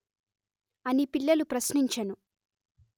అని పిల్లలు ప్రశ్నించెను